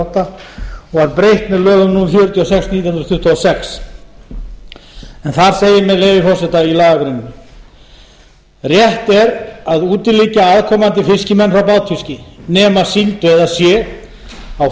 fjörutíu og sex nítján hundruð tuttugu og sex en þar segir með leyfi forseta í lagagreininni rétt er að útiloka aðkomandi fiskimenn frá bátfiski nema síldveiðar sé á